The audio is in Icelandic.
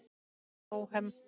Hann var bóhem.